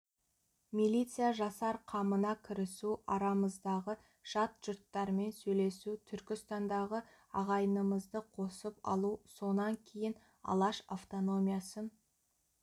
милиция жасар қамына кірісу арамыздағы жат жұрттармен сөйлесу түркістандағы ағайынымызды қосып алу сонан кейін алаш автономиясын